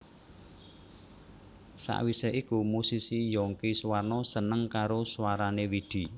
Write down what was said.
Sawise iku musisi Younky Soewarno seneng karo swarané Widi